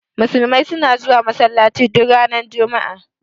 Musulmai suna zuwa Masallaci duk ranar juma'a.